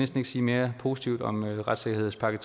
kan sige mere positivt om retssikkerhedspakke